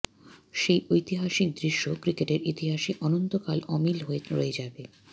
সেই ঐতিহাসিক দৃশ্য ক্রিকেটের ইতিহাসে অনন্তকাল অমিল হয়ে রয়ে যাবে